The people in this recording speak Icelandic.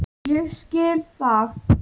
Ég skil það!